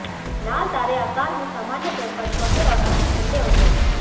लाल तारे आकार में सामान्य तौर पर छोटे और अधिक ठंडे होते हैं